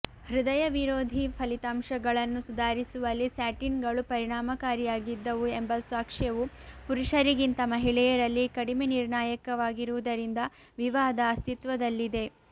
ಹೃದಯ ವಿರೋಧಿ ಫಲಿತಾಂಶಗಳನ್ನು ಸುಧಾರಿಸುವಲ್ಲಿ ಸ್ಟ್ಯಾಟಿನ್ಗಳು ಪರಿಣಾಮಕಾರಿಯಾಗಿದ್ದವು ಎಂಬ ಸಾಕ್ಷ್ಯವು ಪುರುಷರಿಗಿಂತ ಮಹಿಳೆಯರಲ್ಲಿ ಕಡಿಮೆ ನಿರ್ಣಾಯಕವಾಗಿರುವುದರಿಂದ ವಿವಾದ ಅಸ್ತಿತ್ವದಲ್ಲಿದೆ